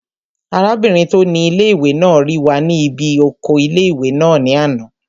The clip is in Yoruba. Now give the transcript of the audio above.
Arábìnrin tó ni ilé-ìwé náà rí wa ní bí oko ilé-ìwé náà ní àná